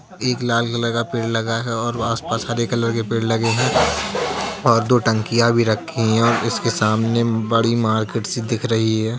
एक लाल कलर का पेड़ लगा है और आस-पास हरे कलर के पेड़ लगे हैं और दो टंकियाँ भी रखी हैं इसके सामने बड़ी मार्केट सी दिख रही है।